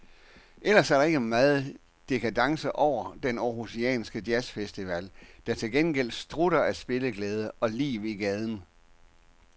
Ellers er der ikke megen dekadence over den århusianske jazzfestival, der til gengæld strutter af spilleglæde og liv i gaden.